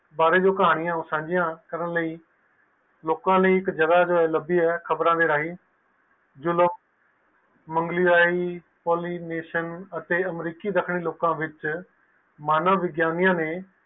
ਇਸ ਬਾਰੇ ਜੋ ਕਹਾਣੀਆਂ ਹੈ ਓ ਸਾਂਝੀ ਕਰਨ ਲਈ ਲੋਕ ਲਈ ਇਕ ਜਗਾਹ ਲੰਬੀ ਹੈ ਖ਼ਬਰਾਂ ਦੇ ਰਾਈਟ ਤੋਂ ਜੋ ਲੋਕ ਮੰਗਲੀ ਰਾਇ ਪੋਲੀਨਾਸ਼ਨ ਅਤੇ ਅਮਰੀਕੀ ਦੱਖਣ ਵਿਚ ਮਾਨਵ ਵਿਗਿਆਨੀ ਨੇ ਸਵਾਲ ਪੁੱਛਣ ਦੀ ਪ੍ਰਥਾ ਤੋਂ ਦਰਜ ਕੀਤਾ ਹੈ